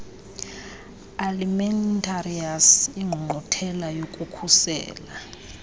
alimentarius ingqungquthela yokukhusela